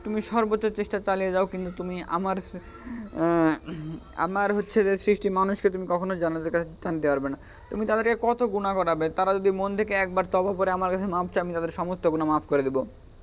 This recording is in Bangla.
তুমি সর্বচ্চ চেষ্টা চালিয়ে যাও কিন্তু আমার আহ আমার হচ্ছে যে সৃষ্টি মানুষকে তুমি কক্ষনো জান্নাতের স্থান দেওয়াতে পারবে না. তুমি তাদেরকে দিয়ে কত গুণাহ করাবে তাঁরা যদি মন থেকে একবার ভোরে আমার কাছে মাফ চান তাদের সমস্ত গুণাহ মাফ করে দিব.